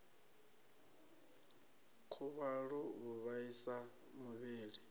khuvhalo u vhaisa muvhili u